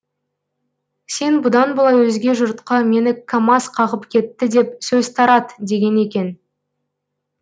сен бұдан былай өзге жұртқа мені камаз қағып кетті деп сөз тарат деген екен